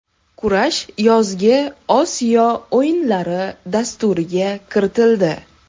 Kurash yozgi Osiyo o‘yinlari dasturiga kiritildi.